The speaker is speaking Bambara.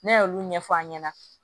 Ne y'olu ɲɛfɔ an ɲɛna